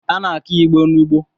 A na-akụ Igbo n’ugbo